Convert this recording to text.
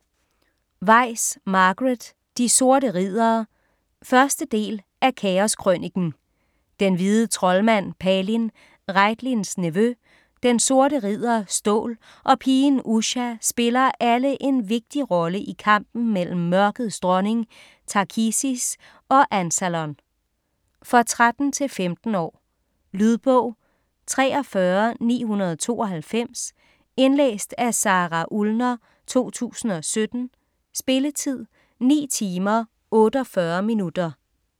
Weis, Margaret: De sorte riddere 1. del af Kaos krøniken. Den hvide troldmand Palin, Raitlins nevø, den sorte ridder Stål og pigen Usha spiller alle en vigtig rolle i kampen mellem Mørkets Dronning Takhisis og Ansalon. For 13-15 år. Lydbog 43992 Indlæst af Sara Ullner, 2017. Spilletid: 9 timer, 48 minutter.